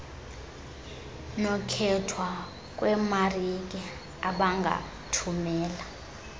nokkhethwa kweemarike abangathumela